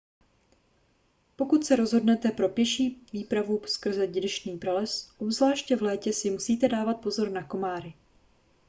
pokud se rozhodnete pro pěší výpravu skrze deštný prales obzvláště v létě si musíte dávat pozor na komáry